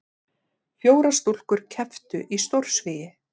Fjórar stúlkur kepptu í stórsvigi